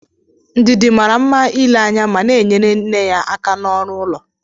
Ndidi mara mma n'ile anya ma na-enyere nne ya aka n'ọrụ ụlọ